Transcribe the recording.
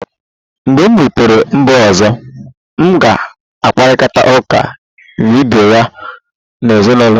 Mgbe m rutere mba ọzọ, m ga-akparịta ụka vidiyo ezinụlọ m